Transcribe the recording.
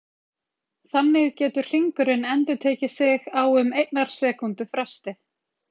Þannig getur hringurinn endurtekið sig á um einnar sekúndu fresti.